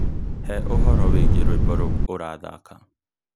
He ũhoro wĩgiĩ rwĩmbo rũu ũrathaaka.